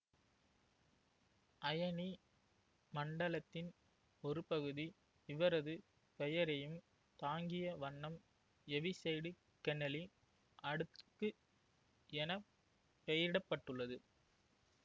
அயனி மண்டலத்தின் ஒருபகுதி இவரது பெயரையும் தாங்கியவண்ணம் எவிசைடுகென்னலி அடுக்கு என பெயரிட பட்டுள்ளது